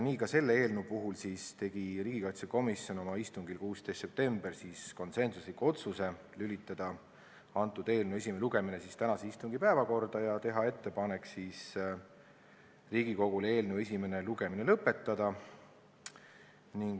Nii tegi riigikaitsekomisjon oma 16. septembri istungil konsensusliku otsuse lülitada eelnõu esimene lugemine tänase istungi päevakorda ja teha Riigikogule ettepaneku esimene lugemine lõpetada.